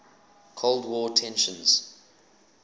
cold war tensions